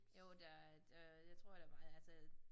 Jo der der jeg tror der altså